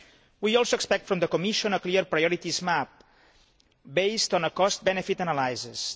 We also expect from the Commission a clear priorities map based on a cost benefit analysis.